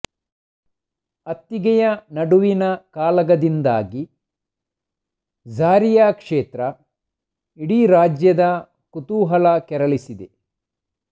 ಅತ್ತಿಗೆಯ ನಡುವಿನ ಕಾಳಗದಿಂದಾಗಿ ಝಾರಿಯಾ ಕ್ಷೇತ್ರ ಇಡೀ ರಾಜ್ಯದ ಕುತೂಹಲ ಕೆರಳಿಸಿದೆ